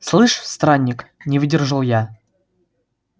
слышь странник не выдержал я